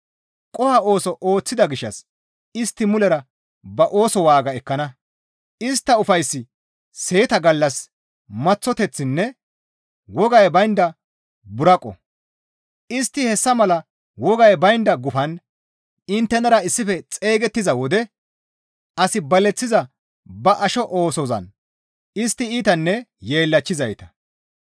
Qoho ooso ooththida gishshas istti mulera ba ooso waaga ekkana; istta ufayssi seeta gallas maththoteththinne wogay baynda buraqo; istti hessa mala wogay baynda gufan inttenara issife xeygettiza wode as baleththiza ba asho oosozan istti iitanne yeellachchizayta.